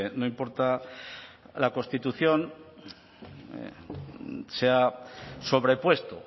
no importa la constitución se ha sobrepuesto